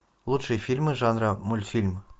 лучшие фильмы жанра мультфильм